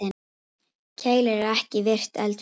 Keilir er ekki virkt eldfjall.